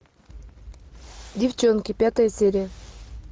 девчонки пятая серия